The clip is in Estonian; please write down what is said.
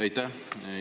Aitäh!